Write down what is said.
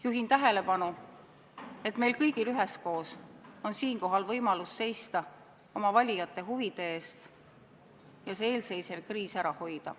Juhin tähelepanu, et meil kõigil üheskoos on siinkohal võimalus seista oma valijate huvide eest ja eelseisev kriis ära hoida.